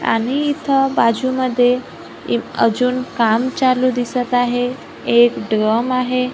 आणि इथं बाजूमध्ये इ अजून काम चालू दिसत आहे एक ड्रम आहे.